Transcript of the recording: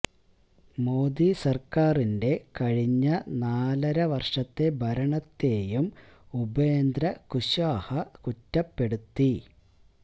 മോഡി സര്ക്കാരിന്റെ കഴിഞ്ഞ നാലര വര്ഷത്തെ ഭരണത്തേയും ഉപേന്ദ്ര കുശ്വാഹ കുറ്റപ്പെടുത്തി